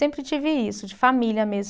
Sempre tive isso, de família mesmo.